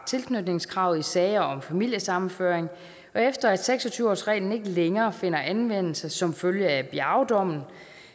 tilknytningskravet i sager om familiesammenføring og efter at seks og tyve årsreglen ikke længere finder anvendelse som følge af biaodommen